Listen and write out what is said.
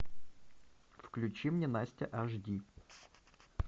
включи мне настя аш ди